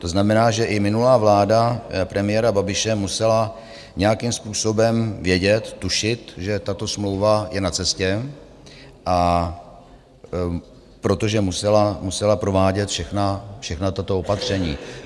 To znamená, že i minulá vláda premiéra Babiše musela nějakým způsobem vědět, tušit, že tato smlouva je na cestě, protože musela provádět všechna tato opatření.